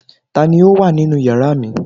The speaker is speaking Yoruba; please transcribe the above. ta ni o wa ninu yara mi